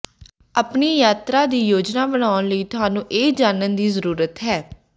ਆਪਣੀ ਯਾਤਰਾ ਦੀ ਯੋਜਨਾ ਬਣਾਉਣ ਲਈ ਤੁਹਾਨੂੰ ਇਹ ਜਾਣਨ ਦੀ ਜ਼ਰੂਰਤ ਹੈ